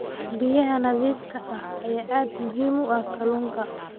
Biyaha nadiifka ah ayaa aad muhiim ugu ah kalluunka.